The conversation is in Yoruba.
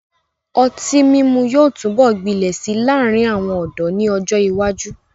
Ọtí mímu yóò túbọ̀ gbilẹ̀ si láàrin àwọn ọ̀dọ́ ni ọ́jọ ìwájú.